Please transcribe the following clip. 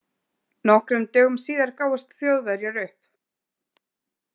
Nokkrum dögum síðar gáfust Þjóðverjar upp.